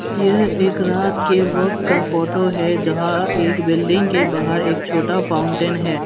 यह एक रात के वक्त का फोटो है जहां एक बिल्डिंग के बाहर एक छोटा फाउंटेन है।